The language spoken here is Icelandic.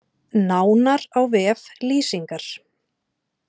Nánar á vef Lýsingar